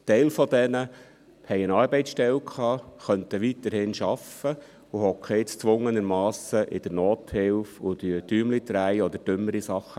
Ein Teil dieser Leute hatte eine Arbeitsstelle, sie könnten weiterhin arbeiten und sitzen nun erzwungenermassen in der Nothilfe, drehen Däumchen oder machen dümmere Sachen.